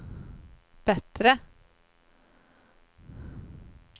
bättre